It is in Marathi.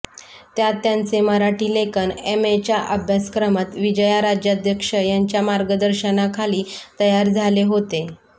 त्यात त्यांचे मराठी लेखन एमएच्या अभ्यासक्रमात विजया राजाध्यक्ष यांच्या मार्गदर्शनाखाली तयार झाले होते